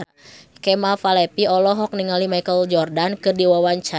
Kemal Palevi olohok ningali Michael Jordan keur diwawancara